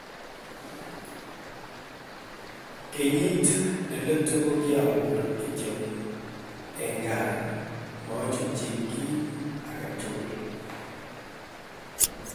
kenyiit ne letu kokiapurii kityog en gaa machutyi kiit agetugul